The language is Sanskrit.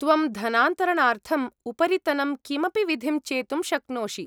त्वं धनान्तरणार्थम् उपरितनं कमपि विधिं चेतुं शक्नोषि।